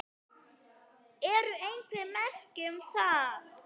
Eru einhver merki um það?